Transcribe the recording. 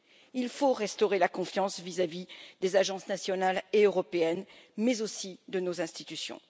Il faut restaurer la confiance vis à vis des agences nationales et européennes, mais aussi de nos institutions.